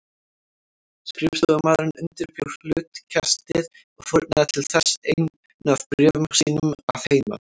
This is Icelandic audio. Skrifstofumaðurinn undirbjó hlutkestið og fórnaði til þess einu af bréfum sínum að heiman.